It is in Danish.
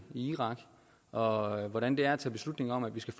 i irak og hvordan det er at tage beslutning om at vi skal